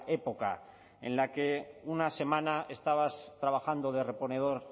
época en la que una semana estabas trabajando de reponedor